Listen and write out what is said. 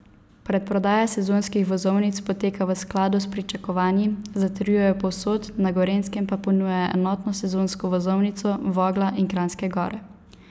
Predprodaja sezonskih vozovnic poteka v skladu s pričakovanji, zatrjujejo povsod, na Gorenjskem pa ponujajo enotno sezonsko vozovnico Vogla in Kranjske Gore.